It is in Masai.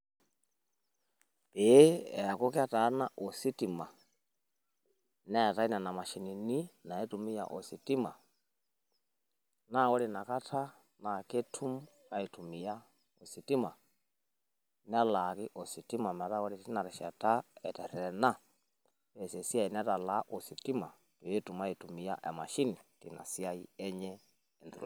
Pee eaku ketaana ositima neetae nena mashinini naitumia ositima naa ore ina kata naa ketum aitumia ositima. Nelaaki ositima metaa ore teina rishata eterretena neas esiai netalaa ositima pee etum aitumia emashini teina siai enye.